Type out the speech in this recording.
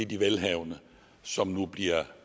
de velhavende som nu bliver